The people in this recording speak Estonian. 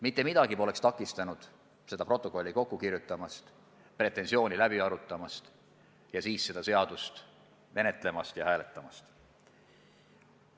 Mitte miski ei takistanud seda protokolli korralikult kirjutamast, pretensioone läbi arutamast ja siis seda seadust menetlemast ja hääletamast.